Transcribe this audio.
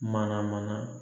Mana mana